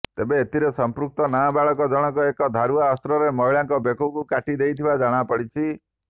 ତେବେ ଏଥିରେ ସଂପୃକ୍ତ ନାବାଳକ ଜଣଙ୍କ ଏକ ଧାରୁଆ ଅସ୍ତ୍ରରେ ମହିଳାଙ୍କ ବେକକୁ କାଟି ଦେଇଥିବା ଜଣାପଡିଛି